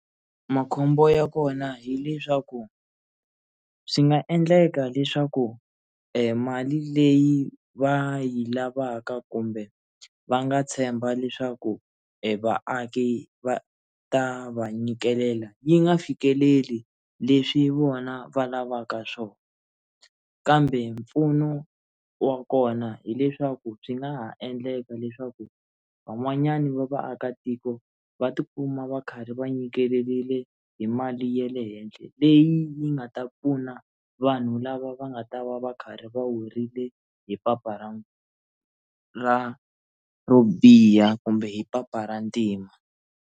Makhombo ya kona hileswaku swi nga endleka leswaku i mali leyi va yi lavaka kumbe va nga tshemba leswaku evaaki va ta va nyikelela yi nga fikeleli leswi vona va lavaka swona kambe mpfuno wa kona hileswaku byi nga ha endleka leswaku van'wanyani va vaakatiko va tikuma va karhi va nyikerile hi mali ya le henhla leyi yi nga ta pfuna vanhu lava va nga ta va va karhi va weriwe hi papa ra ra ro biha kumbe hi papa ra ntima.